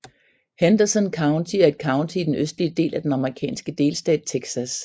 Henderson County er et county i den østlige del af den amerikanske delstat Texas